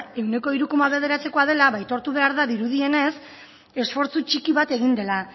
ehuneko hiru koma bederatzikoa dela ba aitortu behar da dirudienez esfortzu txiki bat egin dela